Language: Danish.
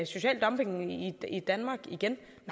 social dumping i danmark igen